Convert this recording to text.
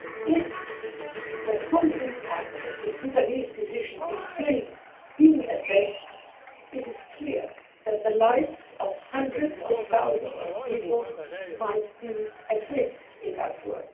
If the full impact of the Sudanese decision is still being assessed, it is clear that the lives of hundreds of thousands of people might be at risk in Darfur.